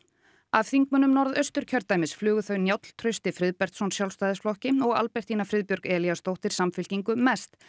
af þingmönnum Norðausturkjördæmis flugu þau Njáll Trausti Friðbertsson Sjálfstæðisflokki og Albertína Friðbjörg Elíasdóttir Samfylkingu mest